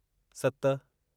सत